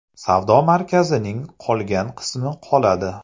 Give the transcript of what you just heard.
Savdo markazining qolgan qismi qoladi.